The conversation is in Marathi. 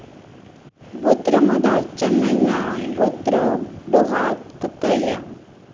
गोत्र मदार चेन्नय्या, गोत्र डोहात कक्कया,